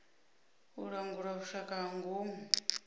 u langula vhushaka ha ngomu